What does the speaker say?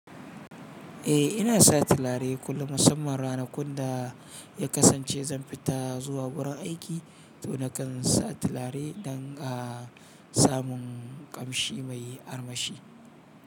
Eh ina sa tilare kullum musamman ranakun da ya kasance zan fita zuwa wurin aiki to nakan sa tilare dan a samun ƙamshi mai armashi.